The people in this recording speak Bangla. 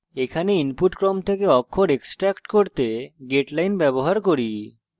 এখানে আমরা input ক্রম থেকে অক্ষর extract করতে getline ব্যবহার করি